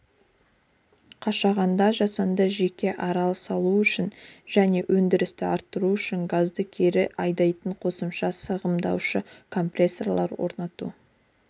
қашағанда жасанды жеке арал салу және өндірісті арттыру үшін газды кері айдайтын қосымша сығымдаушы компрессорлар орнату